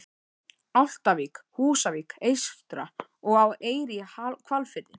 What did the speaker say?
Álftavík, Húsavík eystra og á Eyri í Hvalfirði.